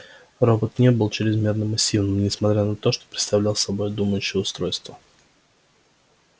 робот не был чрезмерно массивным несмотря на то что представлял собой думающее устройство